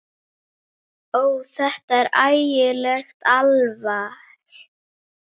Ó, þetta er ægilegt alveg.